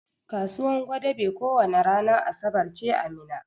Kasuwan gwadabe ko wani ranan asabar ce a Minna.